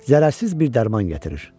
Zərərsiz bir dərman gətirir.